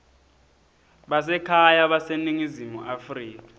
basekhaya baseningizimu afrika